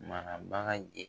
Marabaga ye